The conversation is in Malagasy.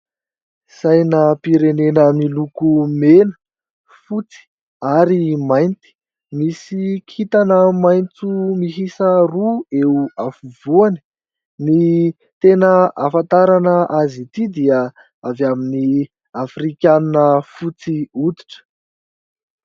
Sainam-pirenena miloko: mena, fotsy, ary mainty. Misy kintana maintso mihisa roa eo afovoany, ny tena afantarana azy ity dia avy amin'ny afrikana fotsy oditra